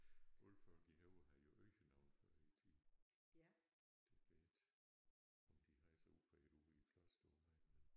Alle folk i Højer havde jo øgenavne før i æ tid. Det ved jeg ikke om de havde så ude på et ude ved æ Klosteromegn men